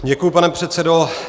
Děkuji, pane předsedo.